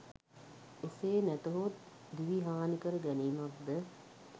එසේ නැතහොත් දිවි හානිකර ගැනීමක්ද